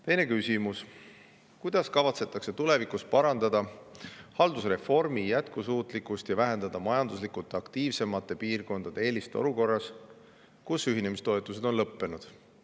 Teine küsimus: "Kuidas kavatsetakse tulevikus parandada haldusreformi jätkusuutlikkust ja vähendada majanduslikult aktiivsemate piirkondade eelist olukorras, kus ühinemistoetused on lõppenud?